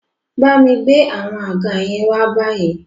Bámi gbé àwọn àga yẹn wá báyìí